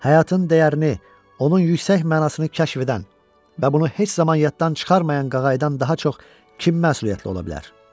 Həyatın dəyərini, onun yüksək mənasını kəşf edən və bunu heç zaman yaddan çıxarmayan qağayıdan daha çox kim məsuliyyətli ola bilər?